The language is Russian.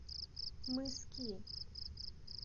мыски